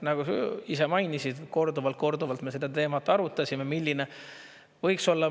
Nagu sa ise mainisid, korduvalt-korduvalt me seda teemat arutasime, milline võiks olla.